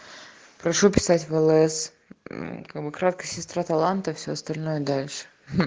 прошу писать в лс мм как бы краткость сестра таланта все остальное дальше